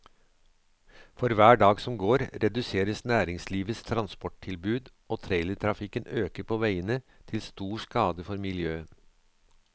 For hver dag som går, reduseres næringslivets transporttilbud, og trailertrafikken øker på veiene, til stor skade for miljøet.